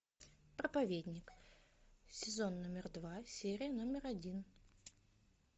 проповедник сезон номер два серия номер один